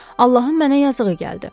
Allahın mənə yazığı gəldi.